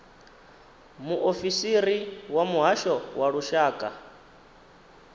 muofisiri wa muhasho wa lushaka